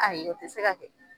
Ayi o tɛ se ka kɛ